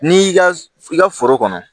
N'i y'i ka i ka foro kɔnɔ